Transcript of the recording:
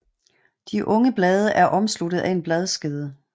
De unge blade er omsluttet af en bladskede